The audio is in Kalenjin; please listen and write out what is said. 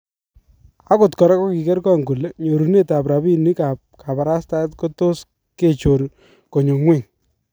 Akot koraa kokiker kong kole nyorunet ab rabinik ab kabarastaet kotos kechor konyo ngweny